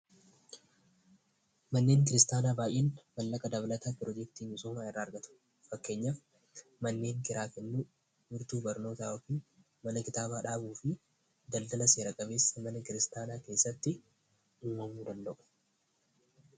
Manneen kiristaanaa baay'een galii dabalataa pirojeectii adda addaa irraa argatu. Fakkeenyaaf manneen kiraa kennuu, manneen barnootaa yookiin mana kitaabaa dhaabuun daldaala seera qabeessa mana kiristaanaa keessatti uummamuu danda'u.